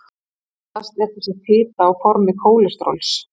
Oftast er þessi fita á formi kólesteróls.